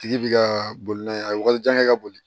Tigi bi ka boli n'a ye a ka janɲa kɛ ka boli